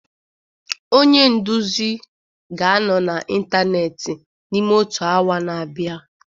Onye nduzi ga-anọ n'ịntanetị n'ime otu awa na-abịa